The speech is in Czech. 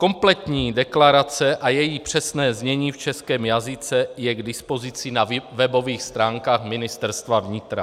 Kompletní deklarace a její přesné znění v českém jazyce je k dispozici na webových stránkách Ministerstva vnitra.